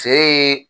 Feere